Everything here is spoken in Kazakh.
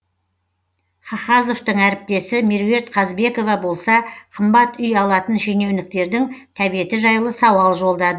хахазовтың әріптесі меруерт қазбекова болса қымбат үй алатын шенеуніктердің тәбеті жайлы сауал жолдады